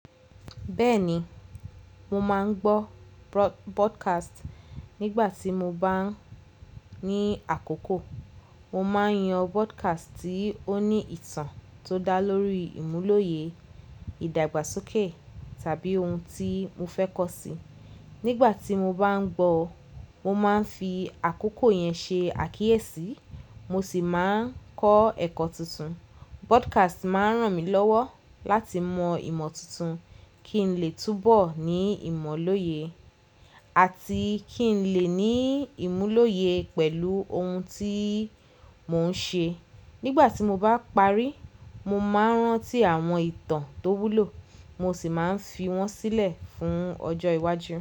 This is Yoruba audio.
Bẹ́ẹ̀ni, mo máa ń gbọ́ podcast nígbà tí mo bá ní àkókò. Mo máa ń yàn podcast tí ó ní ìtàn ti o dá lórí ìmúlòye ìdàgbàsókè tàbí oun tí mofe kosi. Nígbà tí mo bá ń gbọ́, mo máa ń fi àkókò yẹn ṣe àkíyèsí mo sì máa ń kọ́ ẹ̀kọ́ tuntun. Podcast máa ń ràn mí lọ́wọ́ láti mọ ìmọ̀ tuntun kí n lè túnbọ̀ ní ìmọ́lọye àti kí n lè ní ìmúlòye pẹ̀lú ohun tí mo ń ṣe. Nígbà tí mo bá parí, mo máa ń rántí àwọn ìtàn tó wúlò mo sì máa ń fi wọ́n sílẹ̀ fún ọjọ́ iwájú.